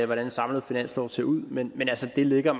hvordan en samlet finanslov ser ud men altså det ligger